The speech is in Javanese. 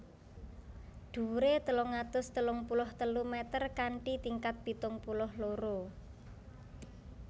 Dhuwuré telung atus telung puluh telu meter kanthi tingkat pitung puluh loro